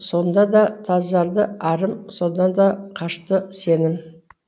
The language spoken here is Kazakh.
сонда да тазарды арым сонда да қашты сенім